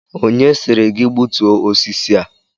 Onye sịrị gị gbutuo osisi a?